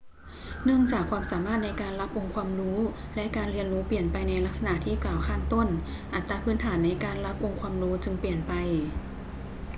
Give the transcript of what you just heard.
เนื่องจากความสามารถในการรับองค์ความรู้และการเรียนรู้เปลี่ยนไปในลักษณะที่กล่าวข้างต้น อัตราพื้นฐานในการรับองค์ความรู้จึงเปลี่ยนไป